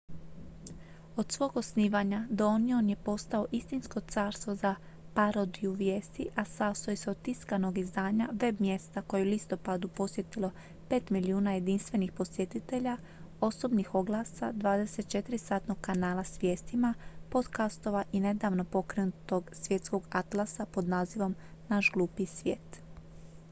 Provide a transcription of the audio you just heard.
od svog osnivanja the onion je postao istinsko carstvo za parodiju vijesti a sastoji se od tiskanog izdanja web-mjesta koje je u listopadu posjetilo 5.000.000 jedinstvenih posjetitelja osobnih oglasa 24-satnog kanala s vijestima podcastova i nedavno pokrenutog svjetskog atlasa pod nazivom naš glupi svijet